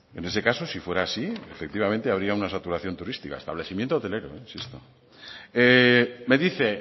en ese caso si fuera así efectivamente habría una saturación turística establecimiento hotelero insisto me dice